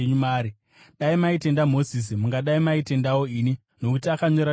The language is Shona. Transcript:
Dai maitenda Mozisi, mungadai maitendawo ini, nokuti akanyora nezvangu.